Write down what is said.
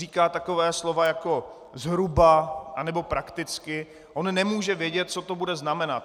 Říkat taková slova jako zhruba nebo prakticky, on nemůže vědět, co to bude znamenat.